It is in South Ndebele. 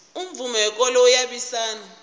umvumo wekolo uyabusisana